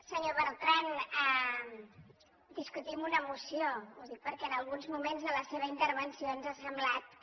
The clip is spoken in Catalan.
senyor bertran discutim una moció ho dic perquè en alguns moments de la seva intervenció ens ha semblat que